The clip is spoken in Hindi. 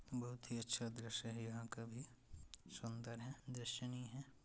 बहुत ही अच्छा दृश्य हैं यहाँं का भी सुंदर है दृश्यनीय है।